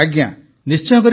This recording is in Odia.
ପ୍ରଧାନମନ୍ତ୍ରୀ ନିଶ୍ଚୟ କରିବେ ତ